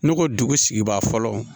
Ne ko dugu sigibaa fɔlɔ